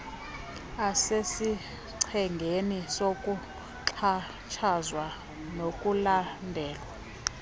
asesichengeni sokuxhatshazwa nokulandela